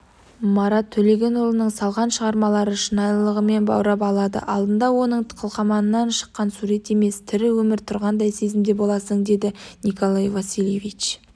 марат төлегенұлының салған шығармалары шынайылығымен баурап алады алдыңда оның қылқаламынан шыққан сурет емес тірі өмір тұрғандай сезімде боласың деді николай васильевич